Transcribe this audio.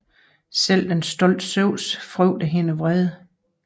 Selv den stolte Zeus frygtede hendes vrede